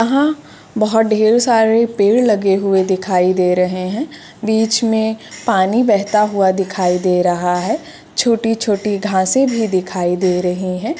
यहाँ बहुत ढेरो सारे पेड़ लगे हुए दिखाई दे रहे हैं बीच में पानी बेहता हुआ दिखाई दे रहा है छोटे-छोटे घासे भी दिखाई दे रहे है।